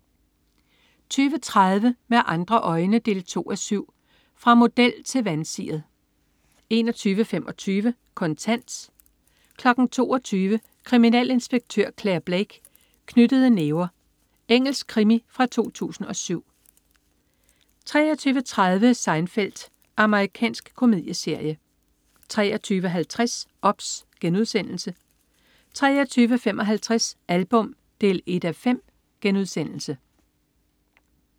20.30 Med andre øjne 2:7. Fra model til vansiret 21.25 Kontant 22.00 Kriminalinspektør Clare Blake: Knyttede næver. Engelsk krimi fra 2007 23.30 Seinfeld. Amerikansk komedieserie 23.50 OBS* 23.55 Album 1:5*